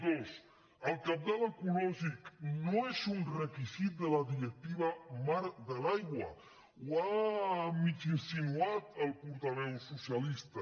dos el cabal ecològic no és un requisit de la directiva marc de l’aigua ho ha mig insinuat el portaveu socialista